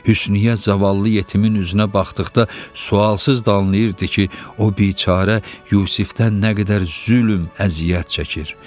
Hüsniyyə zavallı yetimin üzünə baxdıqda sualsız danlayırdı ki, o biçarə Yusifdən nə qədər zülm, əziyyət çəkir.